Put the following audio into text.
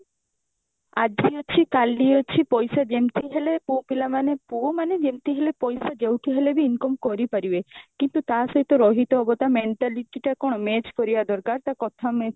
ଆଜି ଅଛି କାଲି ଅଛି ପଇସା ଯେମତି ହେଲେ ପୁଅପିଲା ମାନେ ପୁଅ ମାନେ ଯେମତି ହେଲେ ପଇସା ଯଉଠି ହେଲେ ବି income କରିପାରିବେ କିନ୍ତୁ ତାସହିତ ରହିତେ ହବ ତା mentality ଟା କଣ match କରିବା ଦରକାର ଟା କଥା match